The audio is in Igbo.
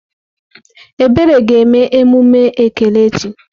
Ebere ga eme emume ekele echi.